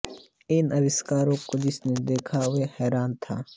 इन अविष्कारों को जिसने देखा वो हैरान था